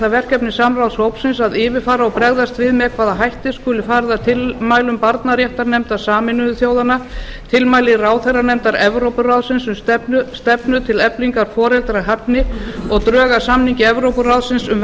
það verkefni samráðshópsins að yfirfara og bregðast við með hvaða hætti skuli farið að tilmælum barnaréttarnefndar sameinuðu þjóðanna tilmælum ráðherranefndar evrópuráðsins um stefnu til eflingar foreldrahæfni og drög að samningi evrópuráðsins um